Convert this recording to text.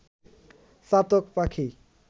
চাতক পাখি